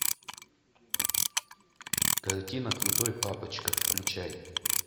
картина крутой папочка включай